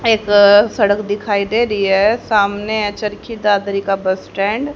एक अ सड़क दिखाई दे रही है सामने चरखी दादरी का बस स्टैंड --